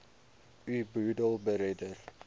u boedel beredder